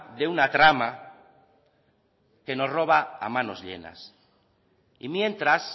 de una trama que nos roba a manos llenos y mientras